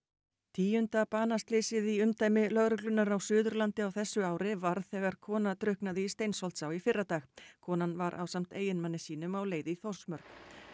tíunda banaslysið í umdæmi lögreglunnar á Suðurlandi á þessu ári varð þegar kona drukknaði í Steinsholtsá í fyrradag konan var ásamt eiginmanni sínum á leið í Þórsmörk